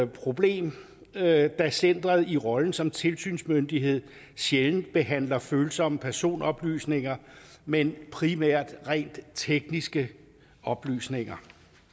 problem da centeret i rollen som tilsynsmyndighed sjældent behandler følsomme personoplysninger men primært rent tekniske oplysninger